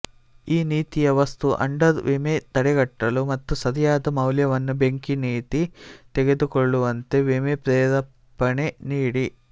ಈ ನೀತಿಯ ವಸ್ತು ಅಂಡರ್ ವಿಮೆ ತಡೆಗಟ್ಟಲು ಮತ್ತು ಸರಿಯಾದ ಮೌಲ್ಯವನ್ನು ಬೆಂಕಿ ನೀತಿ ತೆಗೆದುಕೊಳ್ಳುವಂತೆ ವಿಮೆ ಪ್ರೇರೇಪಣೆ ನೀಡಿ